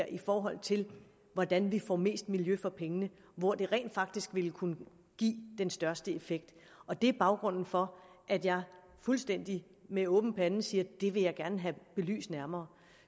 i forhold til hvordan vi får mest miljø for pengene og hvor det rent faktisk vil kunne give den største effekt og det er baggrunden for at jeg fuldstændig med åben pande siger at det vil jeg gerne have belyst nærmere